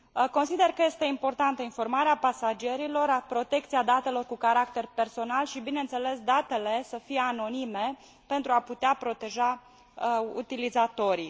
Consider că este importantă informarea pasagerilor, protecția datelor cu caracter personal și, bineînțeles, datele să fie anonime, pentru a putea proteja utilizatorii.